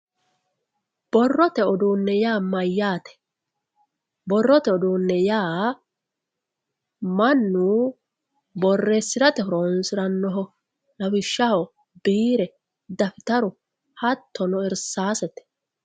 Borrote uduune yaa mayyate, borrote uduune yaa mannu borreesirate horonsiranoho lawishshaho biire dafitaru hattono irsasete.